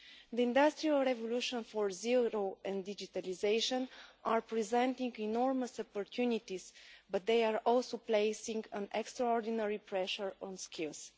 The industrial revolutions for zero waste and digitalisation are presenting enormous opportunities, but they are also placing extraordinary pressure on skills.